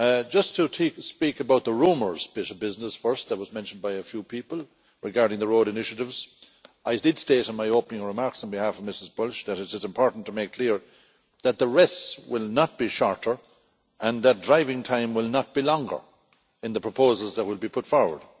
Just to take to speak about the rumours bit of business first which was mentioned by a few people regarding the road initiatives, I did state in my opening remarks on behalf of Commissioner Bulc that it is important to make clear that the rests will not be shorter and that driving time will not be longer in the proposals that would be put forward.